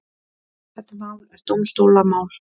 Þetta mál er dómstólamál.